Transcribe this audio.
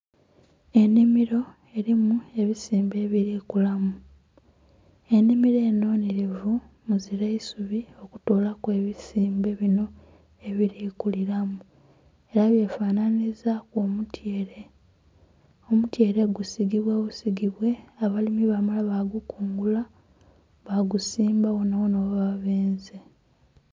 Enhimiro erimu ebizimbe ebiri kulamu, enhimiro enho nnhirivu muzira isubi kutoolaku ebisimbe binho ebiri kuliramu era bye fananhiriza omutyeere. Omutyeere gusigibwa busigibwe abalimu bambala ba bikungula ba gusimba ghona ghona ghe baba benze.